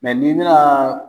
n'i nana